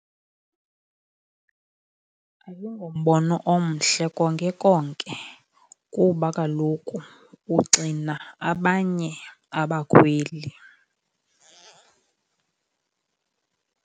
Ayingombono omhle konke konke kuba kaloku uxina abanye abakhweli.